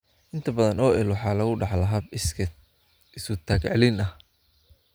Inta badan, OI waxa lagu dhaxlaa hab iskeed isu-taag-celin ah.